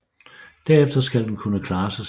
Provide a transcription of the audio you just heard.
Derefter skal den kunne klare sig selv